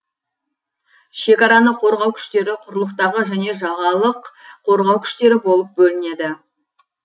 шекараны қорғау күштері құрлықтағы және жағалық корғау күштері болып бөлінеді